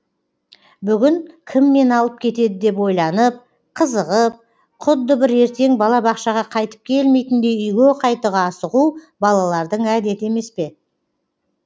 бүгін кім мені алып кетеді деп ойланып қызығып құдды бір ертен бала бақшаға қайтып келмейтіндей үйге қайтуға асығу балалардың әдеті емес пе